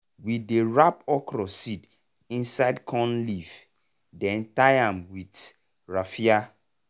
we dey wrap okra seed inside corn leaf then tie am with raffia.